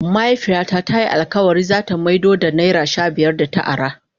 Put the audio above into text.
Mahaifiya na ta yi alkawali za ta maido da naira shabiyar da ta ara.